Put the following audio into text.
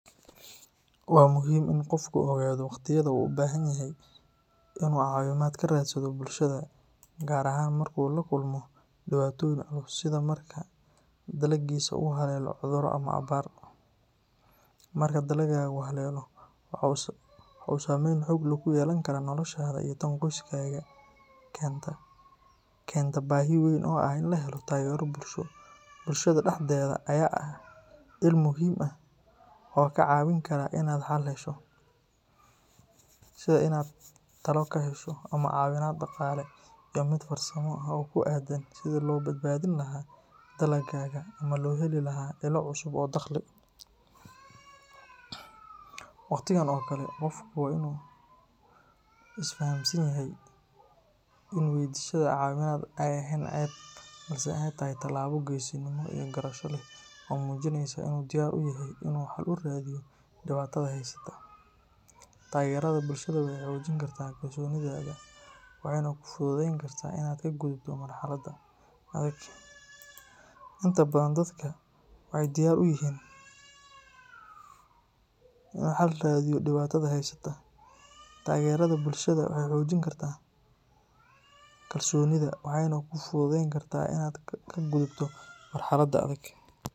Waa muhiim in qofku ogaado waqtiyada uu u baahan yahay in uu caawimaad ka raadsado bulshada gaar ahaan marka uu la kulmo dhibaatooyin culus sida marka dalaggiisa uu haleelo cudur ama abaar. Marka dalaggaagu haleelo, waxa uu saameyn xoog leh ku yeelan karaa noloshaada iyo tan qoyskaaga, taasoo keenta baahi weyn oo ah in la helo taageero bulsho. Bulshada dhexdeeda ayaa ah il muhiim ah oo kaa caawin karta inaad xal hesho, sida inaad talo ka hesho, ama caawimaad dhaqaale iyo mid farsamo oo ku aaddan sidii loo badbaadin lahaa dalaggaaga ama loo heli lahaa ilo cusub oo dakhli. Waqtigan oo kale, qofku waa inuu isfahamsan yahay in weydiisashada caawimaad aysan ahayn ceeb, balse ay tahay talaabo geesinimo iyo garasho leh oo muujinaysa in uu diyaar u yahay inuu xal u raadiyo dhibaatada haysata. Taageerada bulshada waxay xoojin kartaa kalsoonidaada, waxayna kuu fududayn kartaa inaad ka gudubto marxaladda adag.